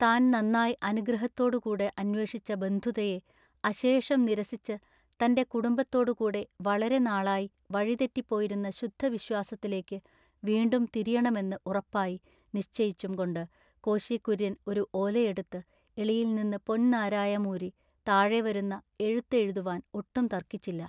താൻ നന്നായി ആഗ്രഹത്തോടു കൂടെ അന്വേഷിച്ച ബന്ധുതയെ അശേഷം നിരസിച്ചു തന്റെ കുടുംബത്തോടു കൂടെ വളരെ നാളായി വഴി തെറ്റിപ്പോയിരുന്ന ശുദ്ധ വിശ്വാസത്തിലേക്കു വീണ്ടും തിരിയെണമെന്നു ഉറപ്പായി നിശ്ചയിച്ചുംകൊണ്ടു കോശി കുര്യൻ ഒരു ഓലയെടുത്തു എളിയിൽനിന്ന് പൊൻ നാരായം ഊരി താഴെ വരുന്ന എഴുത്തു എഴുതുവാൻ ഒട്ടും തൎക്കിച്ചില്ല.